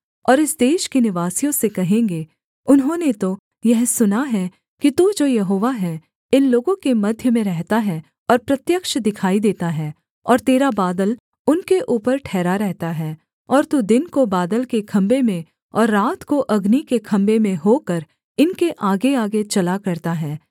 और इस देश के निवासियों से कहेंगे उन्होंने तो यह सुना है कि तू जो यहोवा है इन लोगों के मध्य में रहता है और प्रत्यक्ष दिखाई देता है और तेरा बादल उनके ऊपर ठहरा रहता है और तू दिन को बादल के खम्भे में और रात को अग्नि के खम्भे में होकर इनके आगेआगे चला करता है